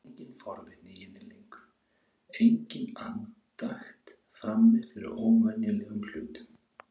Það virtist engin forvitni í henni lengur, engin andakt frammi fyrir óvenjulegum hlutum.